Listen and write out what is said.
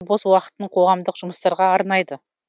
бос уақытын қоғамдық жұмыстарға арнайды